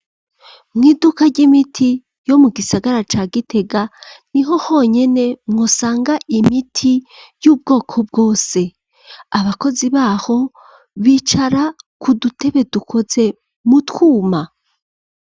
Mw'iduka ry'imiti yo mu gisagara ca gitega niho honyene mwosanga imiti y'ubwoko bwose abakozi baho bicara ku dutebe dukoze mu twuma.